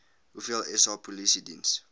hoeveel sa polisiediens